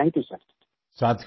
thank you thank you सिर